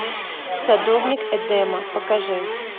садовник эдема покажи